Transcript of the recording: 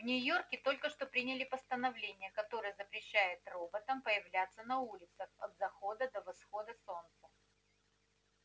в нью-йорке только что приняли постановление которое запрещает роботам появляться на улицах от захода до восхода солнца